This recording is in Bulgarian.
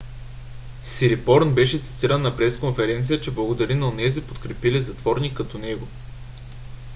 "сирипорн беше цитиран на пресконферениця че благодари на онези подкрепили затворник като него